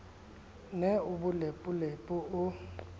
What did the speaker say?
ne o le bolepolepo o